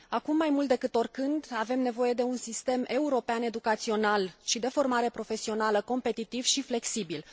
Acum, mai mult decât oricând, avem nevoie de un sistem european educațional și de formare profesională competitiv și flexibil.